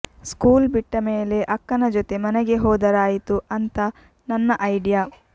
school ಬಿಟ್ಟ ಮೇಲೆ ಅಕ್ಕನ ಜೊತೆ ಮನೆಗೆ ಹೋದರಾಯಿತು ಅಂತ ನನ್ನ ಐಡಿಯಾ